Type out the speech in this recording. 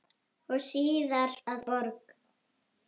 og síðar að borg.